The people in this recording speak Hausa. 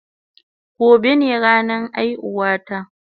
Gobe ne ranan aihuwan ta